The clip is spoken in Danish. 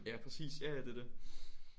Ja præcis ja ja det er det